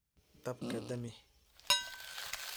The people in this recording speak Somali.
Daabka damix .